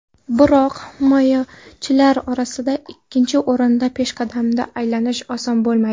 Biroq himoyachilar orasidagi ikkinchi o‘rindan peshqadamga aylanish oson bo‘lmaydi.